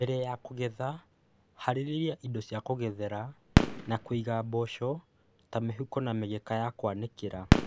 Mbere ya kũgetha, harĩria indo cia kũgethera na kũiga mboco ta mĩhuko na mĩgeka ya kũanĩkĩra.